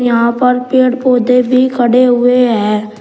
यहां पर पेड़ पौधे भी खड़े हुए हैं।